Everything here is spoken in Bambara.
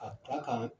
Ka kila ka